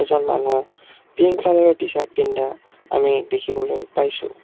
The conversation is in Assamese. এজন মানু্হ পিংক কালাৰ টি-চাৰ্ট পিন্ধা আমি দেখিবলৈ পাইছোঁ।